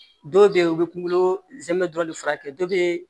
Dɔw bɛ yen u bɛ kunkolo zɛmɛ dɔrɔn de furakɛ dɔ bɛ